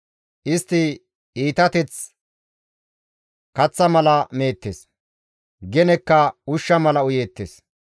Istti iitateth kaththa mala meettes; genekka ushsha mala uyeettes.